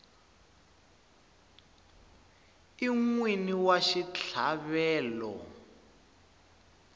i n wini wa xitlhavelo